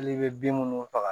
Hali i bɛ bin minnu faga